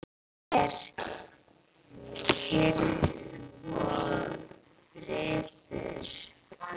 Nú er kyrrð og friður.